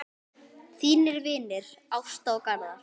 Þínir vinir, Ásta og Garðar.